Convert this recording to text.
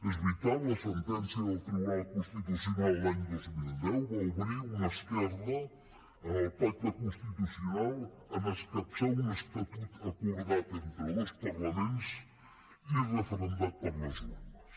és veritat la sentència del tribunal constitucional l’any dos mil deu va obrir una esquerda en el pacte constitucional en escapçar un estatut acordat entre dos parlaments i referendat per les urnes